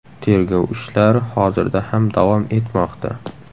Tergov ishlari hozirda ham davom etmoqda.